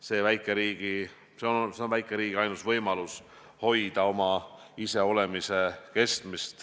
See on väikeriigi ainus võimalus hoida oma iseolemist.